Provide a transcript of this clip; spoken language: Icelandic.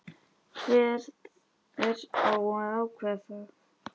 Hver á að ákveða það?